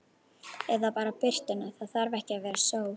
Eða bara birtuna, það þarf ekki að vera sól.